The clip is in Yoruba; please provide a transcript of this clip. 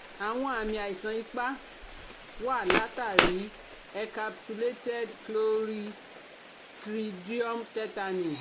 Àwọn àmì àìsàn ipá wá látàrí i encapsulated Cloristridium tetani